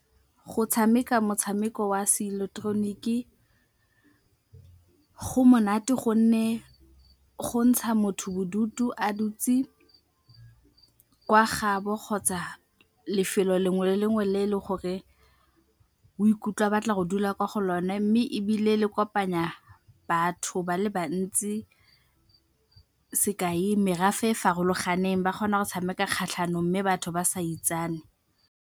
Go tshameka motshameko wa seileketoroniki go monate gonne go ntsha motho bodutu a dutse kwa gaabo kgotsa lefelo lengwe le lengwe le e leng gore o ikutlwa a batla go dula kwa go lone mme ebile le kopanya batho ba le bantsi, sekai, merafe e e farologaneng ba kgona go tshameka kgatlhanong mme batho ba sa itsane.